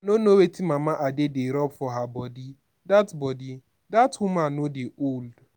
i no know wetin mama ade dey rub for her body. dat body. dat woman no dey old.